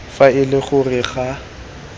fa e le gore ga